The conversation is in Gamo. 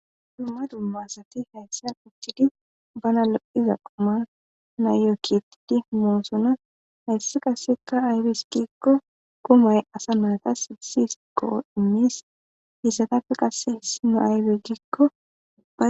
dumma dummasati hayssan uchthidi bana lo7iza qoma nayoo kitidi moosona hayssi qaseka aybeskikko kumay asa maata sigisis qoo imis hiisatappe qasse hessi no aybeggikkoa